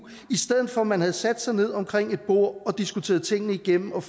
i stedet for at man havde sat sig ned omkring et bord og diskuteret tingene igennem og